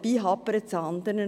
Es hapert nämlich anderswo.